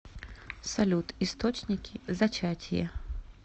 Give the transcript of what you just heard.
салют источники зачатие